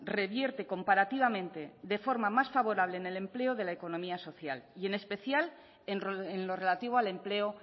revierte comparativamente de forma más favorable en el empleo de la economía social y en especial en lo relativo al empleo